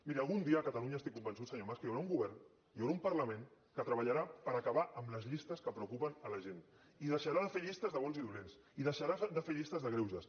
miri algun dia a catalunya estic convençut senyor mas que hi haurà un govern hi haurà un parlament que treballarà per acabar amb les llistes que preocupen la gent i deixarà de fer llistes de bons i dolents i deixarà de fer llistes de greuges